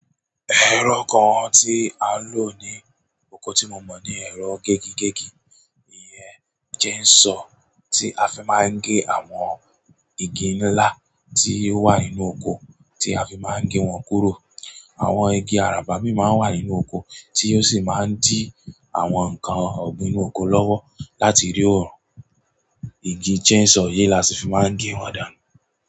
Ẹ̀rọ kan tí a lò ní oko tí mo mọ̀ ní ẹ̀rọ gégigégi. Iye jẹ́ n sọ tí a fi máa ń gé àwọn igi ńlá tí ó wà nínú oko, tí a fi máa ń gé wọn kúrò. Àwọn igi àràbà bí i máa ń wà nínú oko tí ó sì máa ń dí àwọn nǹkan ọ̀gbìn inú oko lọ́wọ́ láti rí òórùn. Igi jẹ́ n sọ yí lọ sí fi máa ń gé wọn dànù.